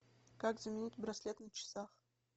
как заменить браслет на часах